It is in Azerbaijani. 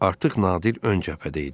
Artıq Nadir ön cəbhədə idi.